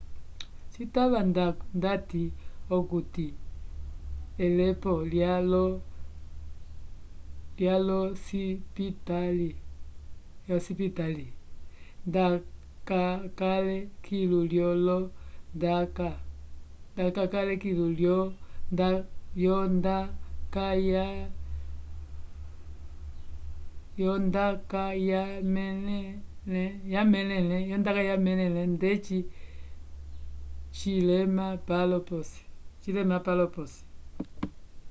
citava ndati okuti elepo lya io cindipitĩla nda cakale kilu lyo io nda kayalemẽle ndeci cilema palo posi